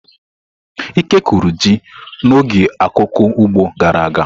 Ike kụrụ ji n'oge akuku ugbo gara aga.